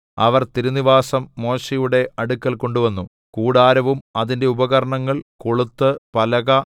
അവർ തിരുനിവാസം മോശെയുടെ അടുക്കൽ കൊണ്ടുവന്നു കൂടാരവും അതിന്റെ ഉപകരണങ്ങൾ കൊളുത്ത് പലക